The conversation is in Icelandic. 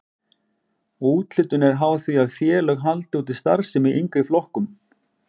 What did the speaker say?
Úthlutun er háð því að félög haldi úti starfsemi í yngri flokkum.